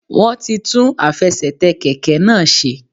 Wọ́n ti tún àfesètè kèké náà se